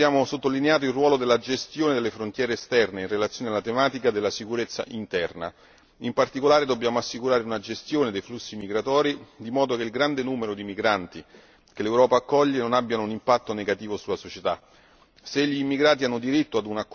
In secondo luogo abbiamo sottolineato il ruolo della gestione delle frontiere esterne in relazione alla tematica della sicurezza interna. In particolare dobbiamo assicurare una gestione dei flussi migratori, in modo che il grande numero di migranti che l'Europa accoglie non abbia un impatto negativo sulla società.